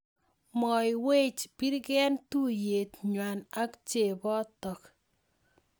Mwoiywech birgen tuiyet nywa ak chepotok